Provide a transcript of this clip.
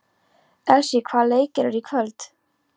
Elsý, hvaða leikir eru í kvöld?